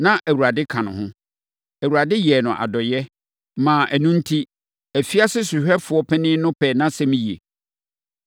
na Awurade ka ne ho. Awurade yɛɛ no adɔeɛ, maa ɛno enti, afiase sohwɛfoɔ panin no pɛɛ nʼasɛm yie.